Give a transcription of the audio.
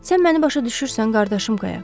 Sən məni başa düşürsən, qardaşım Qayaq.